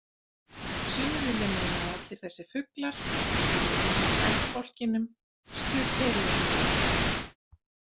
Sumir vilja meina að allir þessir fuglar eigi heima í ættbálkinum Struterioformes.